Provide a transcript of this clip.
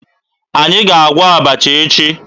Anyị ga-agwọ abacha echi